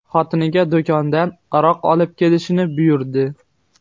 xotiniga do‘kondan aroq olib kelishni buyurdi.